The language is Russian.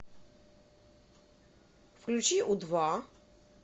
включи у два